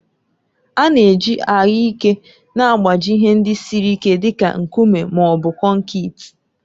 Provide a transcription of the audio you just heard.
A na-eji anyụike na-agbaji ihe ndị siri ike dị ka nkume ma ọ bụ konkịtị.